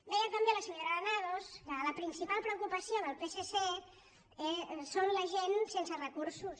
deia també la senyora granados que la principal preocupació del psc són la gent sense recursos